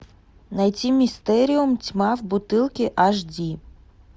найти мистериум тьма в бутылке аш ди